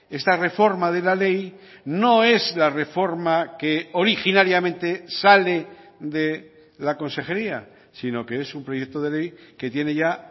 esta reforma de la ley no es la reforma que originariamente sale de la consejería sino que es un proyecto de ley que tiene ya